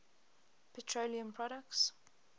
petroleum products